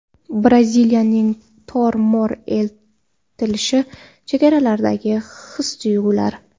Braziliyaning tor-mor etilishi: chehralardagi his-tuyg‘ular .